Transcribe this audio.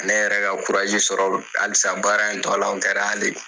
Ne yɛrɛ ka sɔrɔ alisa baara in tɔ la o kɛra